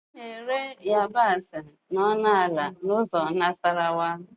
A na-ere yabasị ọnụ ala n'ụzọ Nasarawa